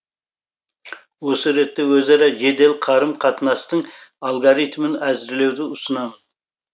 осы ретте өзара жедел қарым қатынастың алгоритімін әзірлеуді ұсынамын